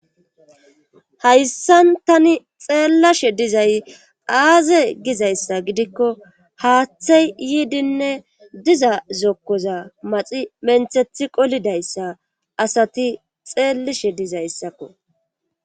hayssan tani xeellashe dizay aaze gizayssa gidikko haaththey yiidinne diza zokkoza maxi menthethi qolidayssa asati xeellishe dizayssakko